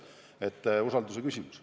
See on usalduse küsimus.